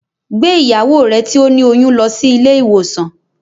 Gbé ìyàwó rẹ tí ó ní oyún lọ sí ilé ìwòsàn